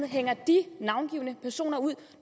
hænger de navngivne personer ud